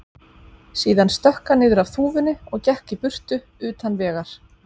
Síðan stökk hann niður af þúfunni og gekk í burtu, utan vegar.